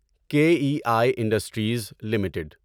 کے E I industries limited